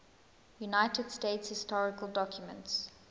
united states historical documents